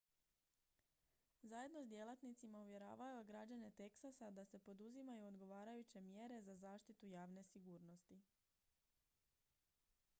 zajedno s djelatnicima uvjeravao je građane teksasa da se poduzimaju odgovarajuće mjere za zaštitu javne sigurnosti